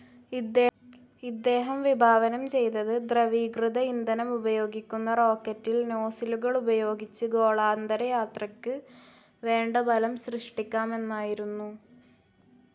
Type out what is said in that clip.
ഇദ്ദേഹം വിഭാവനം ചെയ്തത് ദ്രവീകൃത ഇന്ധനമുപയോഗിക്കുന്ന റോക്കറ്റിൽ നോസിലുകളുപയോഗിച്ച് ഗോളാന്തരയാത്രക്ക് വേണ്ട ബലം സൃഷ്ടിക്കാമെന്നായിരുന്നു.